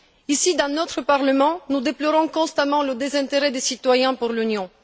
Ici, dans notre Parlement, nous déplorons constamment le désintérêt des citoyens pour l'Union.